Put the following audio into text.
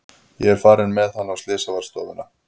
Ég er farin með hann á slysavarðstofuna.